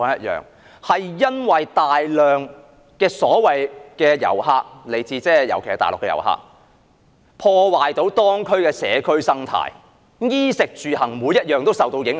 因為大量遊客，尤其來自大陸的遊客，破壞當區的社區生態，令居民衣食住行各方面都受到影響。